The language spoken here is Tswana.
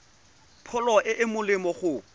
pholo e e molemo go